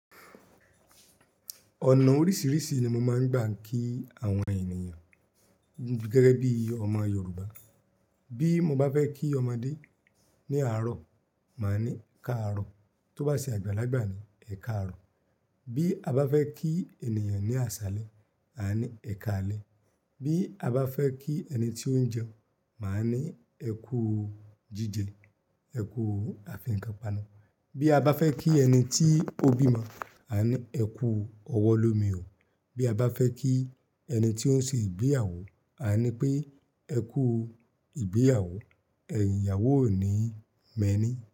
Ọ̀nà oríṣìíríṣìí ni mo máa ń gbà ń kí àwọn ènìyàn gẹ́gẹ́ bí ọmọ Yorùbá. Bí mo bá fẹ́ kí ọmọdé ní àárọ̀, màá ní káàárọ̀. Tó bá se àgbàlagbà ni, ẹ̀ káàárọ̀. Bí a bá fẹ́ kí ènìyàn ní àṣálẹ́, àá ni ẹ káalẹ́. Bí a bá fẹ́ kí ẹni tí ó ń jẹun, màá ní ẹ kúu jíjẹ, ẹ kúu afiǹkan-panu. Bí a bá fẹ́ kí ẹni tí ó bímọ, àá ni ẹ kú ọwọ́ lómi o. Bí a bá fẹ́ kí ẹni tí ó ń se ìgbéyàwó, àá ní pé ẹ kúu ìgbéyàwó, ẹ̀yìn ìyàwó ò níí mẹní.